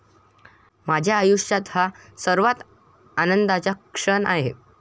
माझ्या आयुष्यात हा सर्वात आनंदाचा क्षण आहे.